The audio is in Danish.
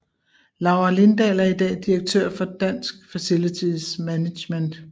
Laura Lindahl er i dag direktør for Dansk Facilities Management